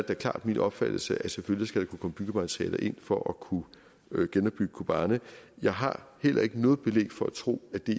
da klart min opfattelse at selvfølgelig skal der kunne komme byggematerialer ind for at kunne genopbygge kobani jeg har heller ikke noget belæg for at tro at det